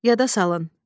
Yada salın.